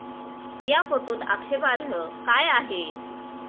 या फोटोत आक्षेपार्ह काय आहे?